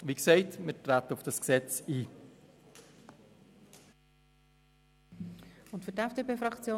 Wie gesagt – wir treten auf das Gesetz ein.